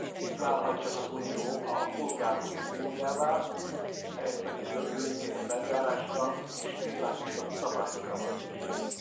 Így válhat csak az Unió a polgárok uniójává, ehhez pedig gördülékenyebb eljárásra és világosabb szabályokra van szükség.